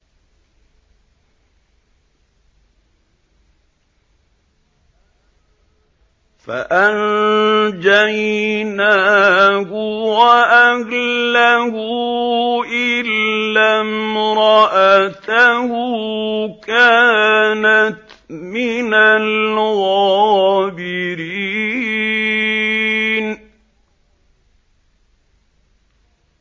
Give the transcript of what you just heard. فَأَنجَيْنَاهُ وَأَهْلَهُ إِلَّا امْرَأَتَهُ كَانَتْ مِنَ الْغَابِرِينَ